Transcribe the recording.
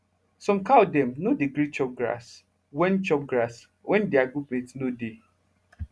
some cow dem nor dey gree chop grass wen chop grass wen deir group mate nor dey